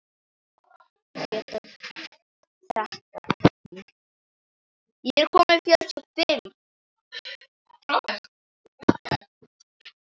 Ég get þetta ekki.